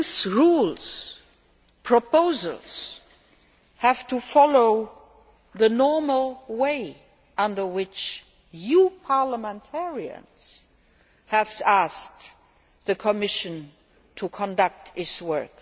Rules and proposals have to follow the normal way, under which you parliamentarians have asked the Commission to conduct its work.